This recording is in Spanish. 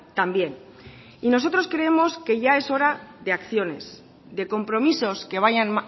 también y nosotros creemos que ya es hora de acciones de compromisos que vayan